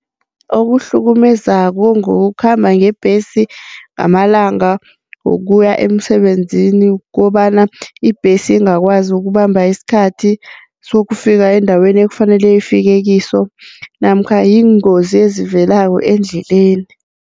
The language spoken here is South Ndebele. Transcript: Okuhlukumezako ngokhamba ngebhesi ngamalanga wokuya emsebenzini kukobana ibhesi angakwazi ukubamba isikhathi sokufika endaweni ekufanele ifike kiso namkha yiingozi ezivelako endleleni.